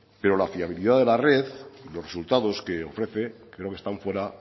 pero la fiabilidad de la red y los resultados que ofrecen creo que están fuera